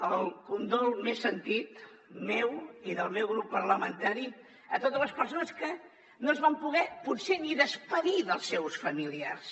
el condol més sentit meu i del meu grup parlamentari a totes les persones que no es van poder potser ni acomiadar dels seus familiars